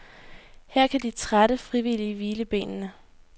Her kan de trætte frivillige hvile benene.